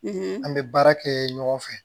an bɛ baara kɛ ɲɔgɔn fɛ